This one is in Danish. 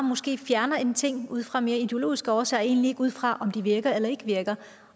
fjerner en ting ud fra mere ideologiske årsager og egentlig ikke ud fra om den virker eller ikke virker